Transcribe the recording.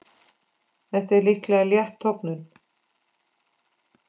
Þetta er líklega létt tognun.